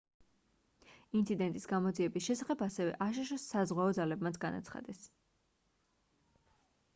ინციდენტის გამოძიების შესახებ ასევე აშშ-ს საზღვაო ძალებმაც განაცხადეს